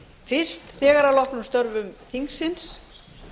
fyrst þegar að loknum störfum þingsins